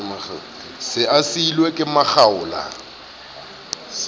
se a siuwe ke makgaola